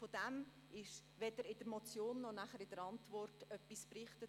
Davon wird weder in der Motion noch in der Antwort etwas berichtet.